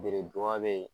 Beredu ba be yen